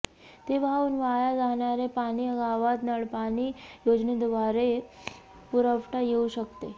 ते वाहून वाया जाणारे पाणी गावात नळपाणी योजनेद्वारे पुरवता येऊ शकते